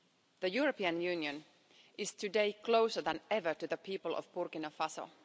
The European Union is today closer than ever to the people of Burkina Faso.